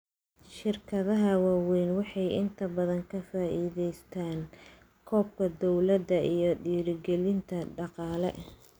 Shirkadaha waaweyni waxay inta badan ka faa'iidaystaan ??kabka dawladda iyo dhiirigelinta dhaqaale.